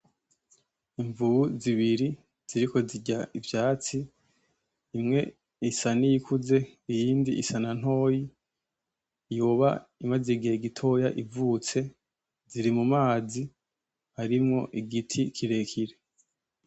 Imvubu zibiri ziriko zirya ivyatsi imwe isa niyikuze iyindi isanantoyi yoba imaze igihe gitoya ivutse ziri mu mazi arimwo igiti kirekire.